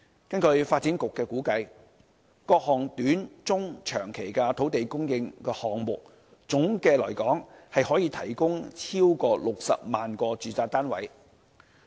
根據發展局的估計，各項短中長期土地供應項目，總的來說可提供超過60萬個住宅單位。